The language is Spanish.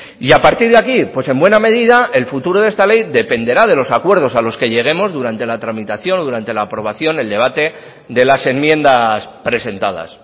y a partir de aquí pues en buena medida el futuro de esta ley dependerá de los acuerdos a los que lleguemos durante la tramitación durante la aprobación el debate de las enmiendas presentadas